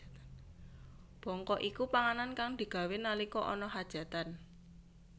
Bongko iku panganan kang digawé nalika ana khajatan